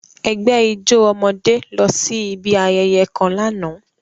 Egbe ijo ọmọde losi ibi ayẹyẹ kan làná.